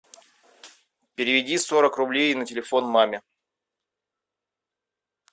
переведи сорок рублей на телефон маме